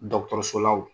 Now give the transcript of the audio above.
Dɔkɔtɔrɔsola wo